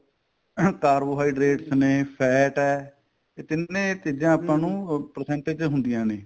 ing carbohydras ਨੇ fat ਏ ਇਹ ਤਿੰਨੇ ਚੀਜ਼ਾਂ ਨੂੰ percentage ਤੇ ਹੁੰਦੀਆਂ ਨੇ